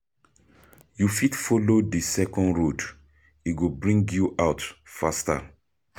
You fit follow di second road, e go bring you out faster.